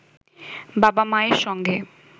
বাবা-মায়ের সঙ্গে